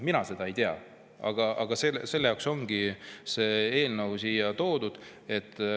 Mina seda ei tea, aga selle jaoks ongi see eelnõu siia toodud.